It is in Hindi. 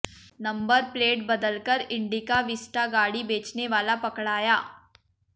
नंबर प्लेट बदलकर इंडिका विस्टा गाड़ी बेचने वाला पकड़ाया